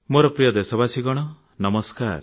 ମୋର ପ୍ରିୟ ଦେଶବାସୀଗଣ ନମସ୍କାର